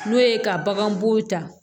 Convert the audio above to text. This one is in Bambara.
N'o ye ka bagan bo ta